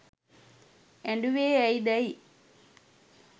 ඇඬුවේ ඇයිදැයි